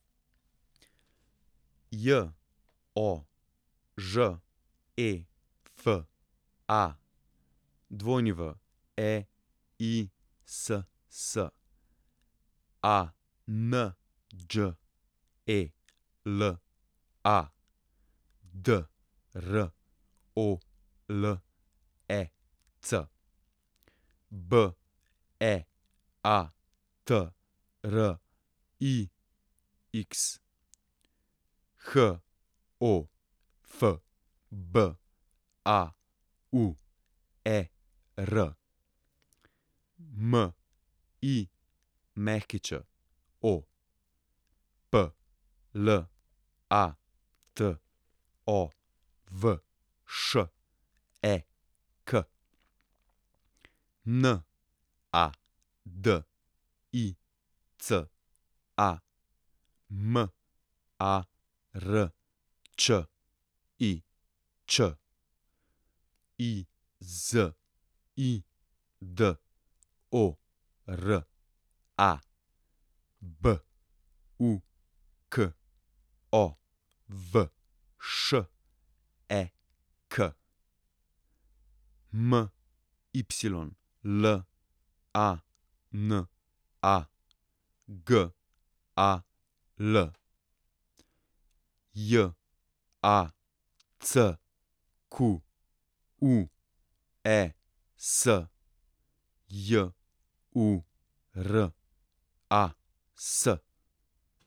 Jožefa Weiss, Anđela Drolec, Beatrix Hofbauer, Mićo Platovšek, Nadica Marčič, Izidora Bukovšek, Mylana Gal, Jacques Juras.